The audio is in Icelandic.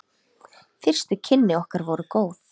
Fyrstu kynni okkar voru góð.